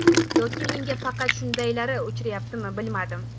Yoki menga faqat shundaylari uchrayaptimi, bilmadim.